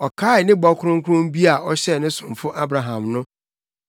Ɔkaee ne bɔ kronkron bi a ɔhyɛɛ ne somfo Abraham no.